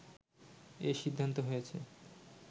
এ সিদ্ধান্ত হয়েছে